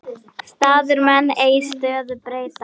Staðir menn ei stöðu breyta.